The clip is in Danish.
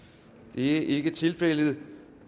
det er ikke tilfældet